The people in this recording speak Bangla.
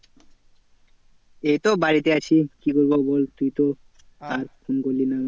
এইতো বাড়িতে আছি। কি বলবো বল তুই তো আর ফোন করলি না আমাকে।